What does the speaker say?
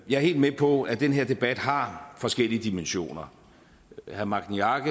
er helt med på at den her debat har forskellige dimensioner herre magni arge